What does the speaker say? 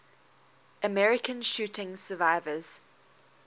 american shooting survivors